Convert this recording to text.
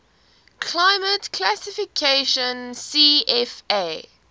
climate classification cfa